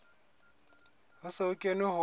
ho se ho kenwe ho